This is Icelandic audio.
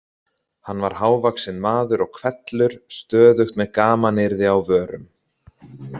Hann var hávaxinn maður og hvellur, stöðugt með gamanyrði á vörum.